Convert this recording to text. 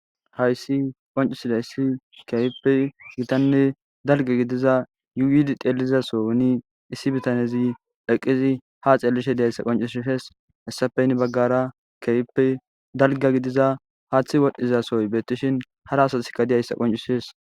Hayssi qoncusile issi keyipe gitanne dalge gidiza yuidi teelizasoni issi bitanezi eqqizi ha xeelishe diyayssa qoncush fes hessafeynn baggara keyppe dalga gidiza haaththi wodhdhizasoy beettishin hara asatikka diyayssa qoncusees